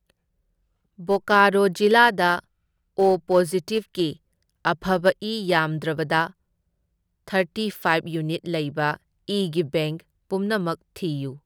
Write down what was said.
ꯕꯣꯀꯥꯔꯣ ꯖꯤꯂꯥꯗ ꯑꯣ ꯄꯣꯖꯤꯇꯤꯚꯒꯤ ꯑꯐꯕ ꯏ ꯌꯥꯝꯗ꯭ꯔꯕꯗ ꯊꯔꯇꯤ ꯐꯥꯏꯕ ꯌꯨꯅꯤꯠ ꯂꯩꯕ ꯏꯒꯤ ꯕꯦꯡꯛ ꯄꯨꯝꯅꯃꯛ ꯊꯤꯌꯨ꯫